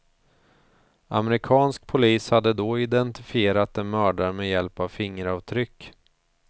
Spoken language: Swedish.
Amerikansk polis hade då identifierat den mördade med hjälp av fingeravtryck.